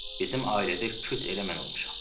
Bizim ailədə küt elə mən olmuşam.